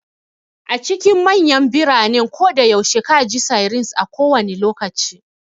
A cikin manyan biranen koda yaushe ka ji sirens a kowane lokaci.